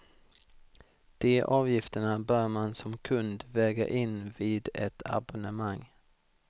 De avgifterna bör man som kund väga in vid ett abonnemang.